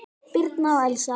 Birna og Elsa.